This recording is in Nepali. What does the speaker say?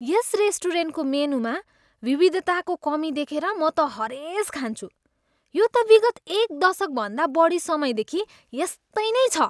यस रेस्टुरेन्टको मेनुमा विविधताको कमी देखेर म त हरेस खान्छु, यो त विगत एक दशकभन्दा बढी समयदेखि यस्तै नै छ।